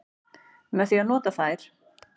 Með því að nota þær.